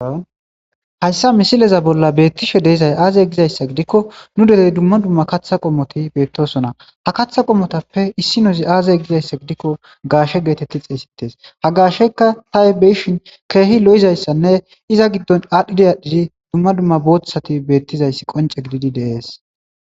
Hayssa misileza bolla beettishe deezay aazay gizayssa gidikko nu derey dumma dumma katha qommoti beettosona ha katha qommotappe issi nozi aazay gizayssa gidikko gaashe geetetti xeesites ha gaasheykka tahi beyishin keehi lo7izayssanne iza giddon aadhdhidi aadhdhidi dumma dumma boothsati beettizayssi qonce gididi deees.